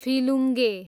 फिलुङ्गे